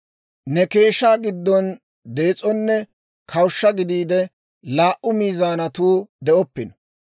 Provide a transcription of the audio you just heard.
«Ne keeshshaa giddon dees'onne kawushsha gideedda laa"u miizaanatuu de'oppino.